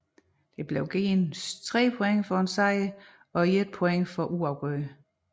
Der blev givet 3 point for en sejr og 1 point for uafgjort